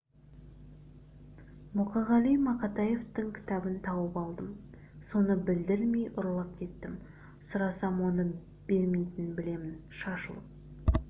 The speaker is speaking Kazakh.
мұқағали мақатаевтың кітабын тауып алдым соны білдірмей ұрлап кеттім сұрасам оны бермейтінін білемін шашылып